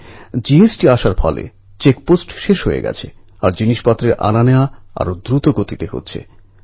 ২০০৩এ road অ্যাকসিডেণ্টে একতা ভয়ানের শরীরের নীচের অংশ অচল হয়ে পড়ে